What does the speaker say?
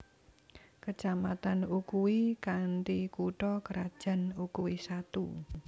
Kecamatan Ukui kanthi kutha krajan Ukui Satu